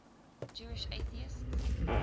jewish atheists